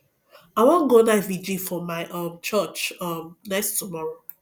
i wan go night vigil for my um church um next tomorrow